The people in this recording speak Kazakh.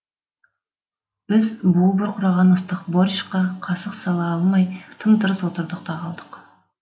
біз буы бұрқыраған ыстық борщқа қасық сала алмай тым тырыс отырдық та қалдық